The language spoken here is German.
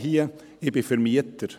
Ich bin Vermieter.